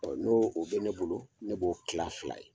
n'o o bɛ ne bolo ne b'o kila fila ye.